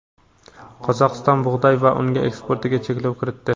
Qozog‘iston bug‘doy va un eksportiga cheklov kiritdi.